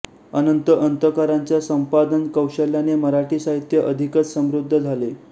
अनंत अंतरकरांच्या संपादनकौशल्याने मराठी साहित्य अधिकच समृद्ध झाले